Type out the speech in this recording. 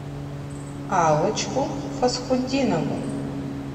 аллочку фасхутдинову